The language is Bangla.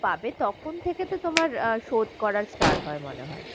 পাবে তখন থেকে তো তোমার আহ শোধ করা start হয় মনে হয়।